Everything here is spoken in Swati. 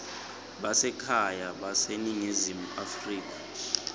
basekhaya baseningizimu afrika